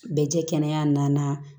Bɛ jɛ kɛnɛya na